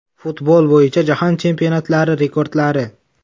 Futbol bo‘yicha jahon chempionatlari rekordlari.